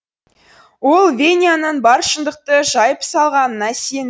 ол веняның бар шындықты жайып салғанына сенді